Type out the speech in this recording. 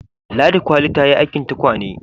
Ladi kwali ta yi aikin tukwane